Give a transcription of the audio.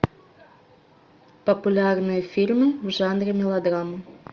популярные фильмы в жанре мелодрама